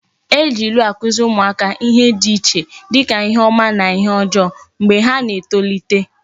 E ji ilu akuziri umuaka ihe di iche dika ihe oma na ihe ojoo mgba ha na etolite